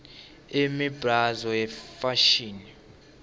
imibzalo yefashini